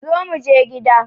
Zo muje gida